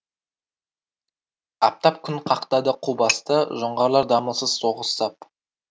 аптап күн қақтады қу басты жоңғарлар дамылсыз соғыс сап